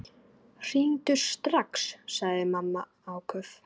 Hringdu strax, sagði mamma áköf.